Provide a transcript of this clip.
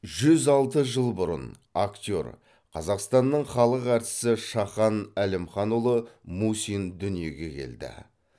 жүз алты жыл бұрын актер қазақстанның халық әртісі шахан әлімханұлы мусин дүниеге келді